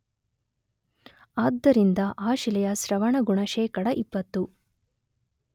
ಆದ್ದರಿಂದ ಆ ಶಿಲೆಯ ಸ್ರವಣಗುಣ ಶೇಖಡ ೨೦